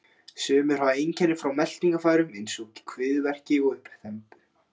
Sumir hafa einkenni frá meltingarfærum eins og kviðverki og uppþembu.